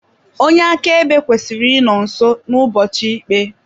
Onye akaebe kwesịrị ịnọ nso n'ụbọchị ikpe.